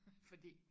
Fordi